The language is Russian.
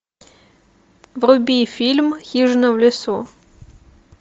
вруби фильм хижина в лесу